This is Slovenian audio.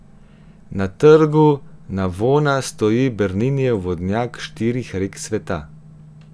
Na trgu Navona stoji Berninijev vodnjak štirih rek sveta.